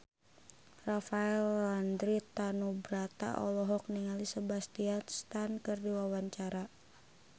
Rafael Landry Tanubrata olohok ningali Sebastian Stan keur diwawancara